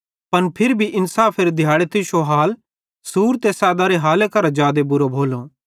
पन फिरी भी इन्साफेरे दिहाड़े तुश्शो हाल सूर ते सैदारे हाले करां जादे बुरो भोलो